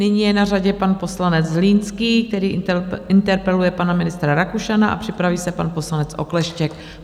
Nyní je na řadě pan poslanec Zlínský, který interpeluje pana ministra Rakušana, a připraví se pan poslanec Okleštěk.